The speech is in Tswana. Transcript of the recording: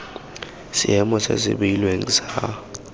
seemo se se beilweng sa